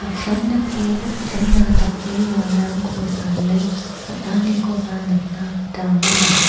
apsan dake an·chingna dakbewalrangko sale on·anikoba nikna gita man·a.